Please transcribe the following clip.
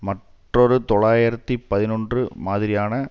மற்றொரு தொள்ளாயிரத்து பதினொன்று மாதிரியான